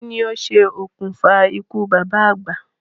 Kí ni o ṣe òkùnfà ikú bàbá àgbà?